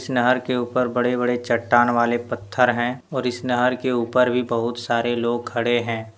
इस नहर के ऊपर बड़े - बड़े चट्टान वाले पत्थर है और इस नहर के ऊपर भी बहुत सारे लोग खड़े है।